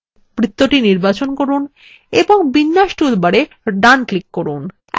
বৃত্ত নির্বাচন করুন এবং বিন্যাস toolbarএ ডান right click করুন